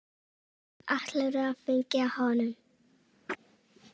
Og ætlarðu að fylgja honum?